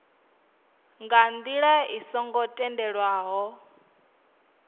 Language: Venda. nga ndila i songo tendelwaho